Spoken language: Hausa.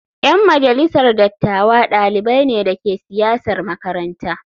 Yan majalisar dattawa dalibai ne da ke siyasar makaranta.